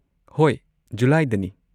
ꯍꯣꯏ, ꯖꯨꯂꯥꯏꯗꯅꯤ꯫